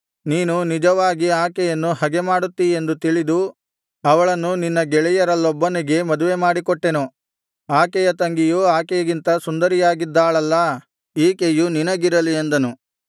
ನೀನು ನಿಜವಾಗಿ ಆಕೆಯನ್ನು ಹಗೆಮಾಡುತ್ತೀಯೆಂದು ತಿಳಿದು ಅವಳನ್ನು ನಿನ್ನ ಗೆಳೆಯರಲ್ಲೊಬ್ಬನಿಗೆ ಮದುವೆಮಾಡಿಕೊಟ್ಟೆನು ಆಕೆಯ ತಂಗಿಯು ಆಕೆಗಿಂತ ಸುಂದರಿಯಾಗಿದ್ದಾಳಲ್ಲಾ ಈಕೆಯು ನಿನಗಿರಲಿ ಅಂದನು